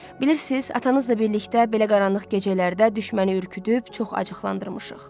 Bilirsiniz, atanızla birlikdə belə qaranlıq gecələrdə düşməni ürkütüüb, çox acıqlandırmışıq.